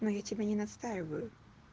ну я тебе не настаиваю